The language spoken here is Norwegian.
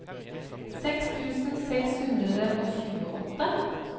seks tusen seks hundre og tjueåtte